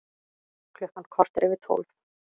Klukkan korter yfir tólf